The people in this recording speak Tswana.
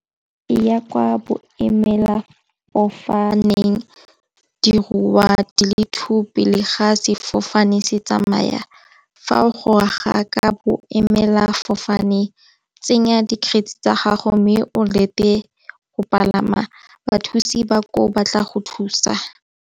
Ya kwa boemela fofaneng dirwa di le two pele ga sefofane se tsamaya. Fa o gongwe ga ka bo emela fofane tsenya di-grade tsa gago mme o lete go palama bathusi ba ko ba tla go thusa.